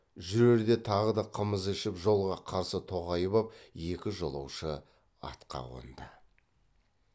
жүрерде тағы да қымыз ішіп жолға қарсы тоғайып ап екі жолаушы атқа қонды